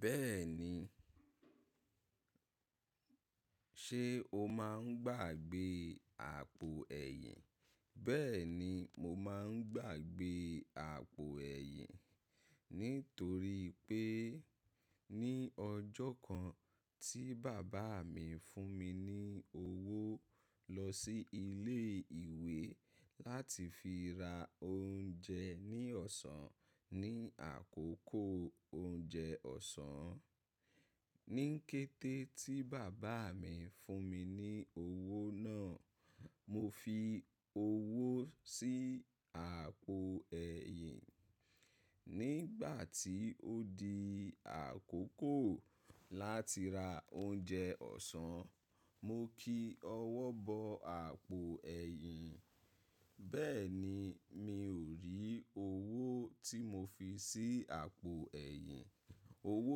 Bẹ́ẹ̀ni, ṣé o máa ń gbàgbé àpò ẹ̀yìn? Bẹ́ẹ̀ni mo máa ń gbàgbé àpò ẹ̀yìn nítorí pé ní ọjọ́ kan tí bàbá mi fún mi ní owó lọ sí ilé ìwé láti fi ra oúnjẹ ní ọ̀sán ní àkókò oúnjẹ ọ̀sán. Ní kété tí bàbá mi fún mi ní owó náà, mo fi owó sí àpò ẹ̀yìn. Nígbà tí ó di àkókò láti ra oúnjẹ ọ̀sán, mo kí ọwọ́ bọ àpò ẹ̀yìn. Bẹ́ẹ̀ni, mi ò rí owó tí mo fi sí àpò ẹ̀yìn. Owó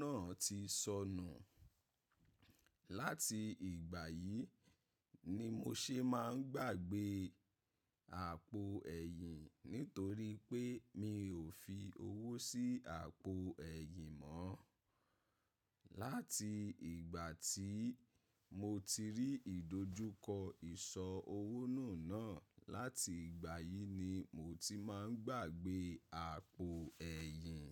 náà ti sọnù. Láti ìgbà yìí ni mo ṣe máa ń gbàgbé àpò ẹ̀yìn nítorí pé mi ò fi owó sí àpò ẹ̀yìn mọ́. Láti ìgbà tí mo ti rí ìdojúkọ ìsọ owó nù náà, láti ìgbà yìí ni mo ti máa ń gbàgbé àpò ẹ̀yìn.